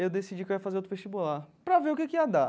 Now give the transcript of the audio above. eu decidi que eu ia fazer outro vestibular, para ver o que que ia dar.